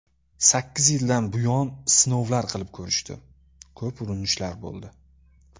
Sakkiz yildan buyon sinovlar qilib ko‘rishdi, ko‘p urinishlar bo‘ldi.